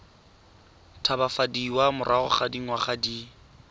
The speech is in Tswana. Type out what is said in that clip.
tshabafadiwa morago ga dingwaga di